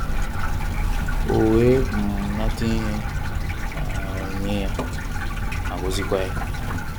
O wee um nata ihe um onyínyè ya, ma gọzìkwa ya.